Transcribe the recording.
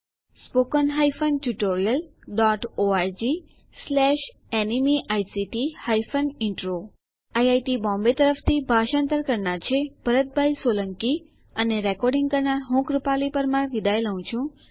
spoken hyphen tutorial dot ORG slash NMEICT hyphen intro IIT Bombay તરફથી ભાષાંતર કરનાર હું ભરત સોલંકી વિદાય લઉં છું